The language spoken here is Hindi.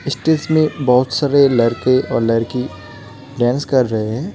इस्टेज में बहुत सारे लड़के और लड़की डांस कर रहे हैं।